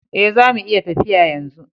Eh, zamu iya tafiya yanzu.